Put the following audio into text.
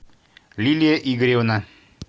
лилия игоревна